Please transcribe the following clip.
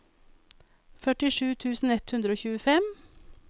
førtisju tusen ett hundre og tjuefem